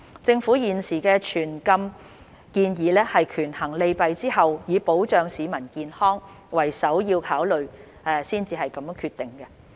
政府現時的全禁建議是權衡利弊後，以保障市民健康為首要考慮才決定的。